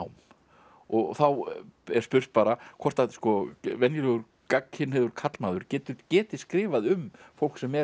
og þá er spurt bara hvort að venjulegur gagnkynhneigður karlmaður geti geti skrifað um fólk sem er